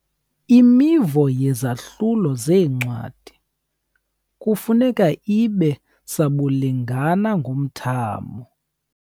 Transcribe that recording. Imivo yezahlulo zencwadi kufuneka ibe sabulingana ngomthamo.